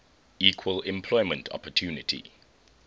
equal employment opportunity